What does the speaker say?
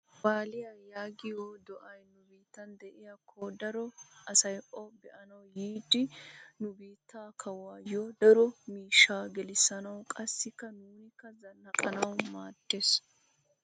Waaliya yaagiyo do'iya nu biittan diyakko daro asay O be'anawu yiido nu biittaa kawuwaayyo daro miishshaa gelissanawu qassikka nuunikka zannaqqanawu maaddes.